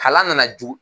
Kalan nana jo